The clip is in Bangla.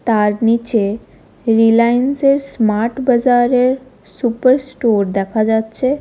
তার নীচে রিলায়েন্স -এর স্মার্ট বাজারের সুপারস্টোর দেখা যাচ্ছে।